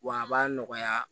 Wa a b'a nɔgɔya